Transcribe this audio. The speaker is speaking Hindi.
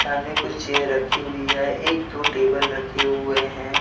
सामने कुछ चेयर रखी हुई है एक दो टेबल रखे हुए है।